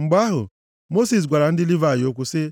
Mgbe ahụ, Mosis gwara ndị Livayị okwu sị,